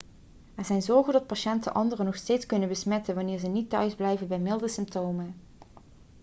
er zijn zorgen dat patiënten anderen nog steeds kunnen besmetten wanneer ze niet thuisblijven bij milde symptomen